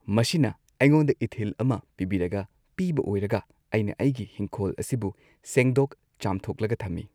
ꯃꯁꯤꯅ ꯑꯩꯉꯣꯟꯗ ꯏꯊꯤꯜ ꯑꯃ ꯄꯤꯕꯤꯔꯒ ꯄꯤꯕ ꯑꯣꯏꯔꯒ ꯑꯩꯅ ꯑꯩꯒꯤ ꯍꯤꯡꯈꯣꯜ ꯑꯁꯤꯕꯨ ꯁꯦꯡꯗꯣꯛ ꯆꯥꯝꯊꯣꯛꯂꯒ ꯊꯝꯃꯤ꯫